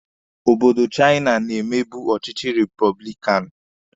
Obodo Chaina na-emebu ọchịchị repọblikanụ.